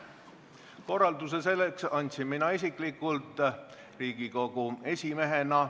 Korralduse selleks andsin mina isiklikult Riigikogu esimehena.